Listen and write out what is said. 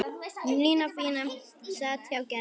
Nína fína sat hjá Gerði.